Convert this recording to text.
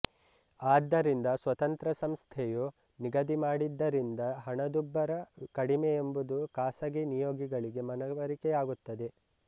ಆದ್ದರಿಂದ ಸ್ವತಂತ್ರ ಸಂಸ್ಥೆಯು ನಿಗದಿಮಾಡಿದ್ದರಿಂದ ಹಣದುಬ್ಬರ ಕಡಿಮೆಯೆಂಬುದು ಖಾಸಗಿ ನಿಯೋಗಿಗಳಿಗೆ ಮನವರಿಕೆಯಾಗುತ್ತದೆ